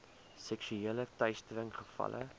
seksuele teistering gevalle